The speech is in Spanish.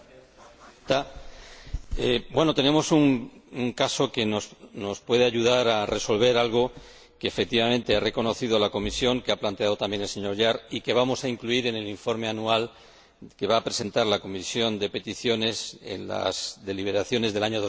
Señora Presidenta, tenemos un caso que nos puede ayudar a resolver algo que, efectivamente, ha reconocido la Comisión, que ha planteado también el señor Jahr y que vamos a incluir en el informe anual que va a presentar la Comisión de Peticiones en las deliberaciones del año